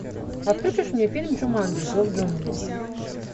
а включишь мне фильм джуманджи зов джунглей